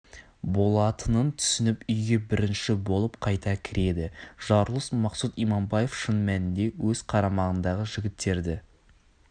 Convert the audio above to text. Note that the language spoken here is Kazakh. болатынын түсініп үйге бірінші болып қайта кіреді жарылыс мақсұт иманбаев шын мәнінде өз қарамағындағы жігіттерді